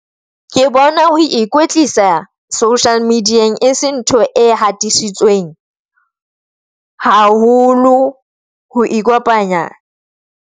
Ke bona ho ikwetlisa social media-eng e se ntho e hatisitsweng haholo ho ikopanya.